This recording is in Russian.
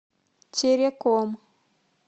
тереком